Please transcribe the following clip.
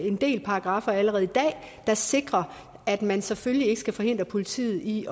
en del paragraffer allerede i dag der sikrer at man selvfølgelig ikke skal forhindre politiet i